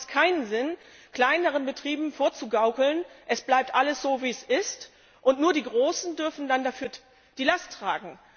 Und dann macht es keinen Sinn, kleineren Betrieben vorzugaukeln, es bleibt alles so wie es ist und nur die großen Betriebe dürfen dann dafür die Last tragen.